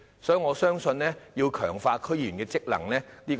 所以，我相信有需要強化區議員的職能。